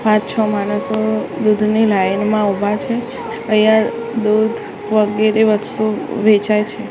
પાંચ છો માણસો દૂધની લાઇન મા ઉભા છે અહીંયા દૂધ વગેરે વસ્તુ વેચાઈ છે.